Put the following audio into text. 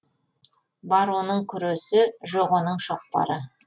бар оның күресі жоқ оның шоқпары